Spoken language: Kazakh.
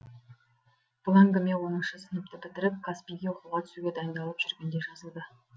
бұл әңгіме оныншы сыныпты бітіріп казпи ге оқуға түсуге дайындалып жүргенде жазылды